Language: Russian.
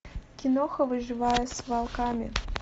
киноха выживая с волками